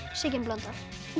Sigyn Blöndal